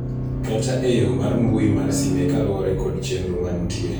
kata e yooo mar mbui mar sime kaluwore kod chenro mantie